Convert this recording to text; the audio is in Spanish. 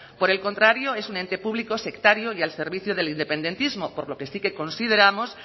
por el contrario es un ente público sectario y al servicio del independentismo por lo que sí que consideramos